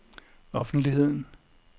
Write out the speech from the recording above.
offentligheden